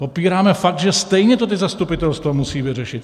Popíráme fakt, že stejně to ta zastupitelstva musí vyřešit.